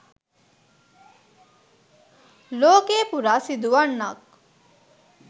ලෝකය පුරා සිදු වන්නක්.